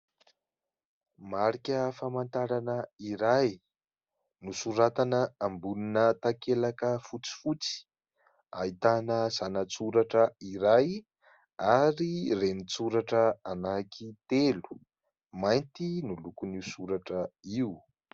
marika famantarana iray, nosoratana ambonina takelaka fotsifotsy, ahitana zanatsoratra iray ary renitsoratra anakitelo ,mainty no lokon'io soratra io